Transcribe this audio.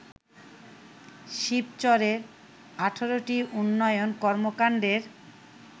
শিবচরের ১৮ টি উন্নয়ন কর্মকাণ্ডের